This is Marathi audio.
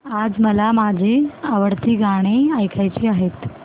आज मला माझी आवडती गाणी ऐकायची आहेत